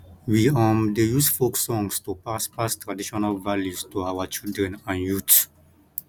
we um dey use folk songs to pass pass traditional values to our children and youth